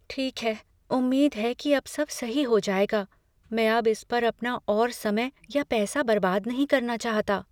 ठीक है, उम्मीद है कि अब सब सही हो जाएगा। मैं अब इस पर अपना और समय या पैसा बर्बाद नहीं करना चाहता।